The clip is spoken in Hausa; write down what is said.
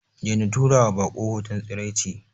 Daina tura wa bako hoton tsiraici.